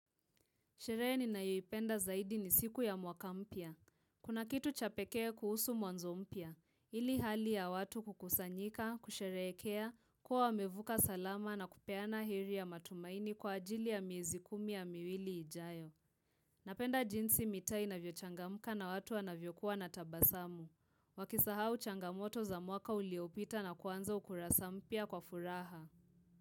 Sherehe ninayoipenda zaidi ni siku ya mwaka mpya. Kuna kitu cha pekee kuhusu mwanzo mpya. Hili hali ya watu kukusanyika, kusherehekea, kuwa wamevuka salama na kupeana heri ya matumaini kwa ajili ya miezi kumi ya miwili ijayo. Napenda jinsi mitaa inavyochangamka na watu wanavyokuwa na tabasamu. Wakisahau changamoto za mwaka uliopita na kuanza ukurasa mpya kwa furaha.